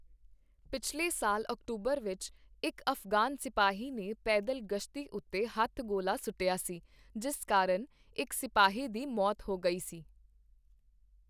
ਪਿਛਲੇ ਸਾਲ ਅਕਤੂਬਰ ਵਿੱਚ ਇੱਕ ਅਫ਼ਗ਼ਾਨ ਸਿਪਾਹੀ ਨੇ ਪੈਦਲ ਗਸ਼ਤੀ ਉੱਤੇ ਹੱਥ ਗੋਲਾ ਸੁੱਟਿਆ ਸੀ, ਜਿਸ ਕਾਰਨ ਇੱਕ ਸਿਪਾਹੀ ਦੀ ਮੌਤ ਹੋ ਗਈ ਸੀ।